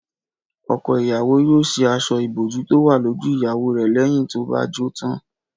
Ọkọ ìyàwó yóò ṣí aṣọ ìbòjú tó wà lójú ìyàwó rẹ̀ lẹ́yìn tó bá jó tán